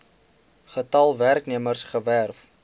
getal werknemers gewerf